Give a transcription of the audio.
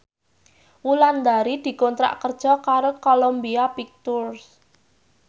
Wulandari dikontrak kerja karo Columbia Pictures